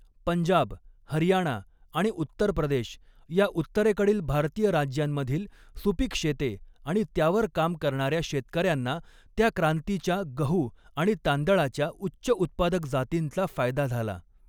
पंजाब, हरियाणा आणि उत्तर प्रदेश या उत्तरेकडील भारतीय राज्यांमधील सुपीक शेते आणि त्यावर काम करणाऱ्या शेतकऱ्यांना त्या क्रांतीच्या गहू आणि तांदळाच्या उच्च उत्पादक जातींचा फायदा झाला.